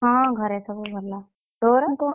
ହଁ ଘରେ ସବୁ ଭଲ। ତୋର?